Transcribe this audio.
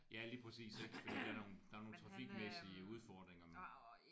Ja lige præcis ik. Fordi der er der er nogle trafikmæssige udfordringer